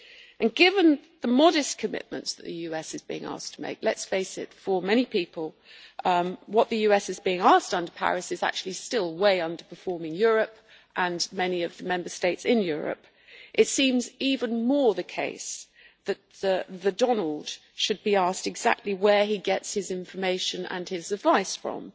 And given the modest commitments that the US is being asked to make let us face it, for many people what the US is being asked under Paris is actually still way underperforming Europe and many of the Member States in Europe it seems even more the case that the Donald' should be asked exactly where he gets his information and his advice from,